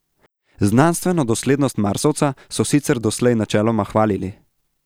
Znanstveno doslednost Marsovca so sicer doslej načeloma hvalili.